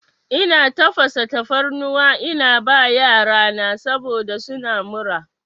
Ina tafasa tafarnuwa ina ba yarana saboda suna mura.